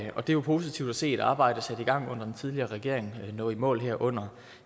og det er jo positivt at se et arbejde sat i gang under den tidligere regering nå i mål her under